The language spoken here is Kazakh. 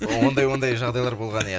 ондай ондай жағдайлар болған ия